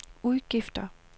udgifter